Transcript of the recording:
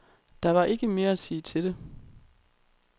Der var ikke mere at sige til det.